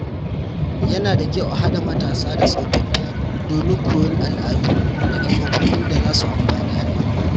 Yana da kyau a haɗa matasa da tsofaffi domin koyon al’adu daga tsofaffin da zasu amfani al'umma.